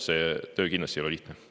See töö kindlasti ei ole lihtne.